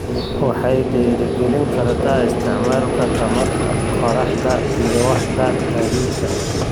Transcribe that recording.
Waxay dhiirigelin kartaa isticmaalka tamarta qorraxda ee waaxda gaadiidka.